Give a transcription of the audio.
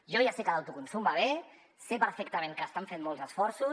jo ja sé que l’autoconsum va bé sé perfectament que estan fent molts esforços